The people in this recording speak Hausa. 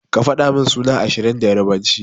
Ka fadamin sunan ashirin da yarbanci.